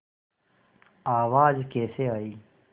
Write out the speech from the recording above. आवाज़ कैसे आई